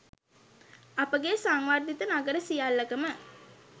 අපගේ සංවර්ධිත නගර සියල්ලකම